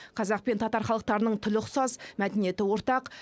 қазақ пен татар халықтарының тілі ұқсас мәдениеті ортақ